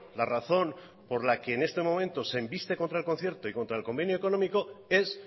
la razón por la que en este momento se embiste contra el concierto y contra el convenio económico es